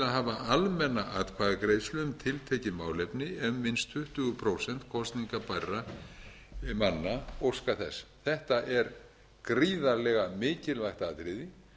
hafa almenna atkvæðagreiðslu um tiltekin málefni ef minnst tuttugu prósent kosningabærra manna óska þess þetta er gríðarlega mikilvægt atriði